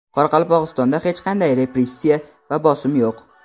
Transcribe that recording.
Qoraqalpog‘istonda hech qanday repressiya va bosim yo‘q.